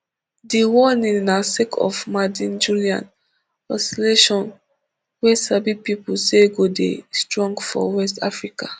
di warning na sake of maddenjullian oscillation wey sabi pipo say go dey strong for west africa